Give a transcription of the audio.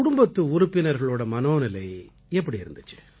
குடும்பத்து உறுப்பினர்களோட மனோநிலை எப்படி இருந்திச்சு